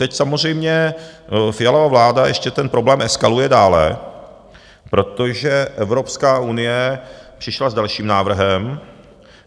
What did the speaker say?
Teď samozřejmě Fialova vláda ještě ten problém eskaluje dále, protože Evropská unie přišla s dalším návrhem...